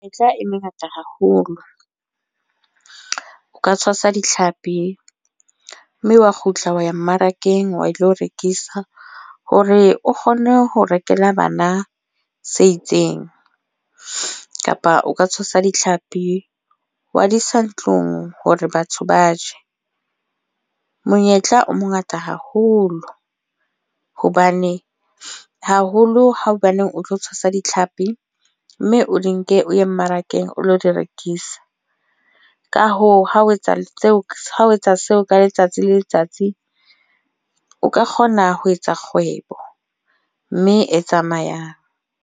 Menyetla e mengata haholo. O ka tshwasa ditlhapi, mme wa kgutla wa ya mmarakeng wa ilo rekisa. Hore o kgone ho rekela bana se itseng. Kapa o ka tshwasa ditlhapi, wa di isa ntlong hore batho ba je. Monyetla o mongata haholo. Hobane haholo ho hobaneng o tlo tshwasa ditlhapi mme o di nke o ye mmarakeng o lo di rekisa. Ka hoo, ha ho etsa seo, ho etsa seo ka letsatsi le letsatsi. O ka kgona ho etsa kgwebo, mme e tsamayang.